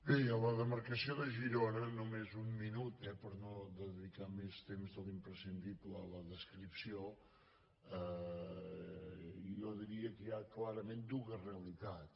bé a la demarcació de girona només un minut eh per no dedicar més temps de l’imprescindible a la des·cripció jo diria que hi ha clarament dues realitats